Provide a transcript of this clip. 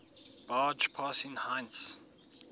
barge passing heinz